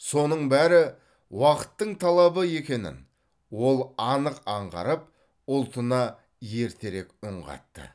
соның бәрі уақыттың талабы екенін ол анық аңғарып ұлтына ертерек үн қатты